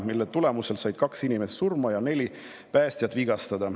Selle tagajärjel said kaks inimest surma ja neli päästjat vigastada.